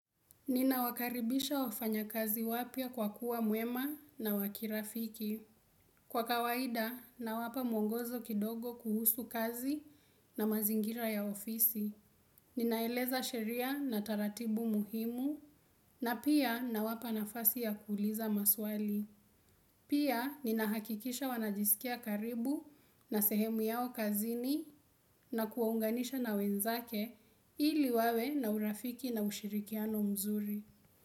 Nina wakaribisha wafanya kazi wapia kwa kuwa mwema na wakirafiki. Kwa kawaida na wapa mwongozo kidogo kuhusu kazi na mazingira ya ofisi. Ninaeleza sheria na taratibu muhimu na pia na wapa nafasi ya kuuliza maswali. Pia ninahakikisha wanajisikia karibu na sehemu yao kazini na kuwaunganisha na wenzake ili wawe na urafiki na ushirikiano mzuri.